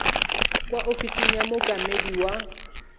kwa ofising ya mookamedi wa